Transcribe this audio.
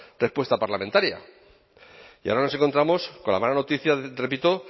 respuesta parlamentaria y ahora nos encontramos con la mala noticia repito